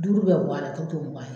Duuru bɛ bɔ a la a tɔ bɛ to mugan ye.